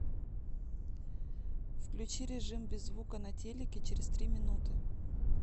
включи режим без звука на телике через три минуты